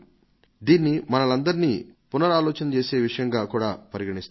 దీనిని మనల్నందరినీ పునరాలోచింపజేసే విషయంగా కూడా పరిగణిస్తారు